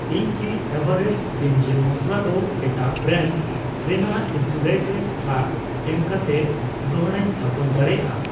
ᱤᱧ ᱠᱤ ᱮᱵᱷᱟᱨᱮᱥᱴ ᱥᱤᱢᱡᱤᱞ ᱢᱚᱥᱞᱟ ᱫᱚ ᱮᱴᱟᱜ ᱵᱨᱮᱱᱰ ᱨᱮᱱᱟᱜ ᱤᱱᱥᱩᱞᱮᱴᱮ ᱯᱷᱞᱟᱥᱠ ᱮᱢᱠᱟᱛᱮ ᱫᱚᱲᱦᱟᱧ ᱛᱷᱟᱯᱚᱱ ᱫᱟᱲᱮᱭᱟᱜᱼᱟ?